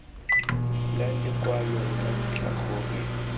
la lekwalo la ntlha go